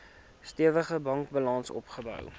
stewige bankbalans opgebou